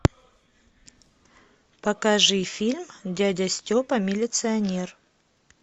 покажи фильм дядя степа милиционер